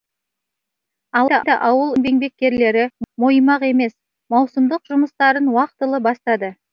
алайда ауыл еңбеккерлері мойымақ емес маусымдық жұмыстарын уақытылы бастады